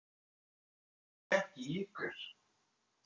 Ég heyri ekki í ykkur.